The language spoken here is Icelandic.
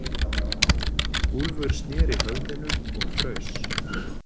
Úlfur snéri höfðinu og fraus.